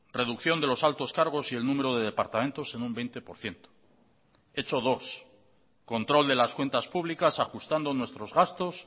reducción de los altos cargos y el número de departamentos en un veinte por ciento hecho dos control de las cuentas públicas ajustando nuestros gastos